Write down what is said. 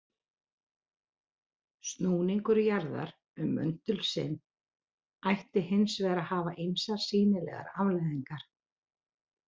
Snúningur jarðar um möndul sinn ætti hins vegar að hafa ýmsar sýnilegar afleiðingar.